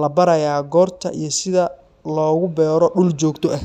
la barayaa goorta iyo sida loogu beero dhul joogto ah.